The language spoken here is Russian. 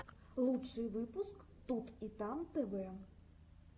лучший выпуск тут и там тв